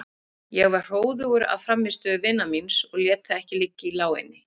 Ég var hróðugur af frammistöðu vinar míns og lét það ekki liggja í láginni.